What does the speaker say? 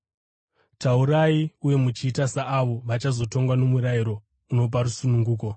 Taurai uye muchiita saavo vachazotongwa nomurayiro unopa rusununguko,